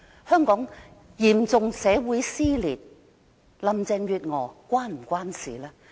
香港嚴重社會撕裂，這是否與林鄭月娥有關呢？